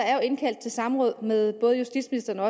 er indkaldt til samråd med både justitsministeren og